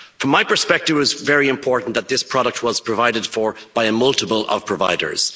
From my perspective it was very important that this product was provided for by a multiple of providers.